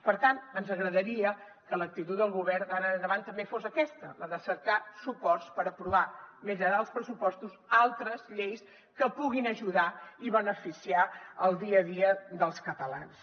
per tant ens agradaria que l’actitud del govern d’ara endavant també fos aquesta la de cercar suports per aprovar més enllà dels pressupostos altres lleis que puguin ajudar i beneficiar el dia a dia dels catalans